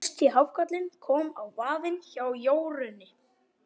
Fyrsti hákarlinn kom á vaðinn hjá Jórunni.